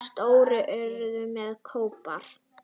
Stór urta með kóp.